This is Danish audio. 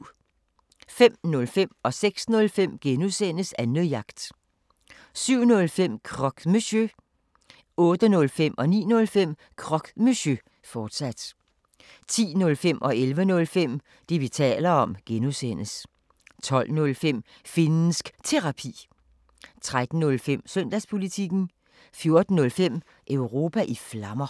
05:05: Annejagt (G) 06:05: Annejagt (G) 07:05: Croque Monsieur 08:05: Croque Monsieur, fortsat 09:05: Croque Monsieur, fortsat 10:05: Det, vi taler om (G) 11:05: Det, vi taler om (G) 12:05: Finnsk Terapi 13:05: Søndagspolitikken 14:05: Europa i Flammer